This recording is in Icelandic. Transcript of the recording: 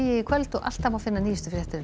í kvöld og alltaf má finna nýjustu fréttir á